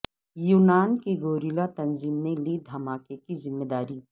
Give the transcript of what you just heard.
یونان کی گوریلا تنظیم نے لی دھماکے کی ذمہ داری